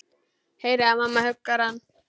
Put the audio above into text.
Heyri að mamma huggar hann.